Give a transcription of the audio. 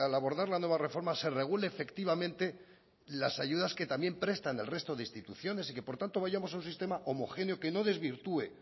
abordar la nueva reforma se regule efectivamente las ayudas que también prestan el resto de instituciones y que por tanto vayamos a un sistema homogéneo que no desvirtúe